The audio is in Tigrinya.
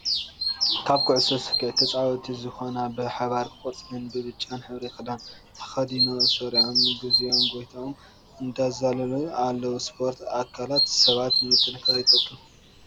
ካብ ኩዕሶ ሰኪዐት ተፃወቲ ዝኮና ብሓባር ቆፃልን ብፃን ሕብሪ ክዳን ተከዲኖ ሲዒሮም ግዚ ጎይኖም እንዳዛለሉ ኣለው። ስፖርት ኣካላት ሰባት ንምጥካርን ይጠቅም።